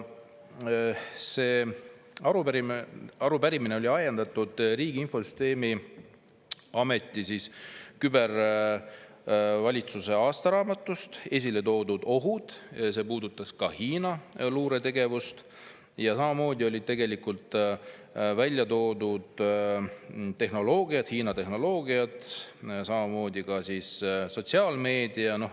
See arupärimine oli ajendatud Riigi Infosüsteemi Ameti küber aastaraamatust, kus olid esile toodud ohud, see puudutas ka Hiina luuretegevust, samuti Hiina tehnoloogiat ja sotsiaalmeediat.